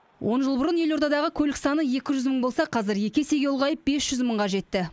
он жыл бұрын елордадағы көлік саны екі жүз мың болса қазір екі есеге ұлғайып бес жүз мыңға жетті